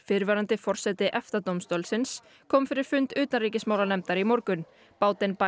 fyrrverandi forseti EFTA dómstólsins kom fyrir fund utanríkismálanefndar í morgun